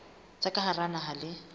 tsa ka hara naha le